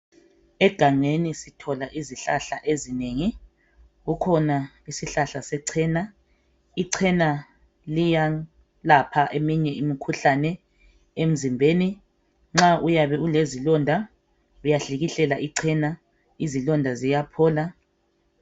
Egangeni sithola izihlahla ezinengi, kukhona isihlahla secena .Icena liyalapha eminye imikhuhlane emzimbeni. Nxa uyabe ulezilonda ,uyahlikihlela icena . Izilonda siyaphola.